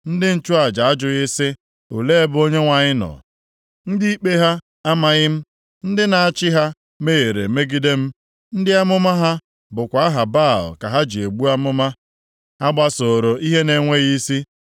Ndị nchụaja ajụghị sị, ‘Olee ebe Onyenwe anyị nọ?’ Ndị ikpe ha amaghị m, ndị na-achị ha mehiere megide m, ndị amụma ha bụkwa aha Baal ka ha ji ebu amụma, ha gbasooro ihe na-enweghị isi.